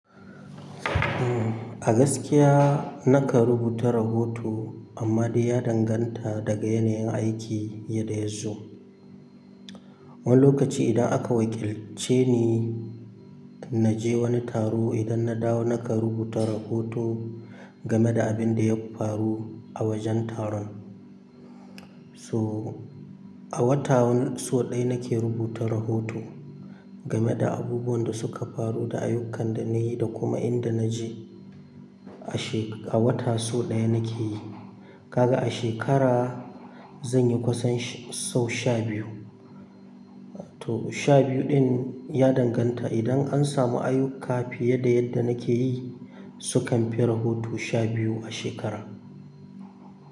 A gaskiya nakan rubuta rahoto amma dai ya danganta daga yanayin aiki yadda yazo. Wani lokaci idan aka wakilce ni naje wani taro idan na dawo nakan rubuta rahoto game da abinda ya faru a wajen taron. To a wata so ɗaya nake rubuta rahoto game da abubuwan da suka faru da ayyukan da na yi da kuma inda na je a she-- a wata so ɗaya nake yi. Kaga a shekara zanyi kusan sau sha biyu. To sha biyu ɗin ya danganta idan an samu ayuka fiye da yadda nake yi sukanfi rahoto sha biyu a shekara.